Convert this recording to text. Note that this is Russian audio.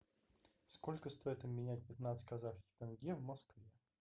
сколько стоить обменять пятнадцать казахских тенге в москве